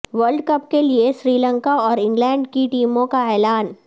world cup کے لیے سری لنکا اور انگلینڈ کی ٹیموں کا اعلان